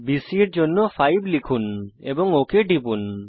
BC এর দৈর্ঘ্যের জন্য 5 লিখুন এবং ওক টিপুন